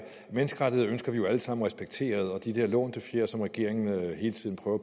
menneskerettigheder ønsker vi jo alle sammen respekteret og de der lånte fjer som regeringen hele tiden prøver